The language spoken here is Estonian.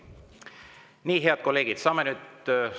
Nii, head kolleegid, saame nüüd …